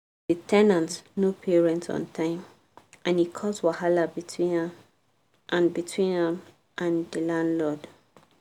the ten ant no pay rent on time and e cause wahala between am and between am and the landlord.